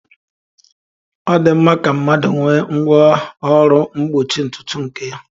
Ọ dị mma ka mmadụ nwee ngwá ọrụ mgbochi ntutu nke ya.